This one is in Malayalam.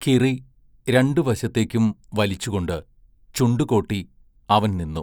കിറി രണ്ടു വശത്തേക്കും വലിച്ചുകൊണ്ട് ചുണ്ടു കോട്ടി അവൻ നിന്നു.